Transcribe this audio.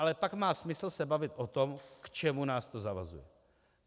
A pak má smysl se bavit o tom, k čemu nás to zavazuje.